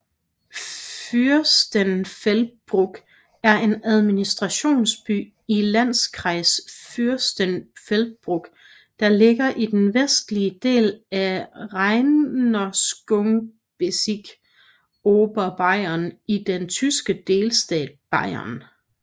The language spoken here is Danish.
Fürstenfeldbruck er administrationsby i Landkreis Fürstenfeldbruck der ligger i den vestlige del af Regierungsbezirk Oberbayern i den tyske delstat Bayern